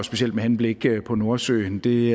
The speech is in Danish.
specielt med henblik på nordsøen det